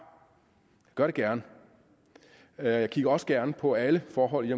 gør det gerne og jeg kigger også gerne på alle forhold